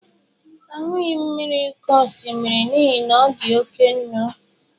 Anughi m mmiri oke osimiri n'ihi na ọ dị oke nnu.